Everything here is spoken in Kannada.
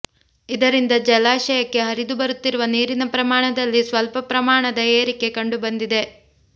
ಇದರಿಂದ ಜಲಾಶಯಕ್ಕೆ ಹರಿದುಬರುತ್ತಿರುವ ನೀರಿನ ಪ್ರಮಾಣದಲ್ಲಿ ಸ್ವಲ್ಪ ಪ್ರಮಾಣದ ಏರಿಕೆ ಕಂಡುಬಂದಿದೆ